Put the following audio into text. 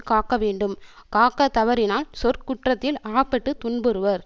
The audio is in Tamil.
காக்க வேண்டும் காக்க தவறினால் சொற்குற்றத்தில் அகப்பட்டு துன்புறுவர்